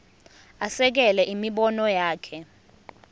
asekele imibono yakhe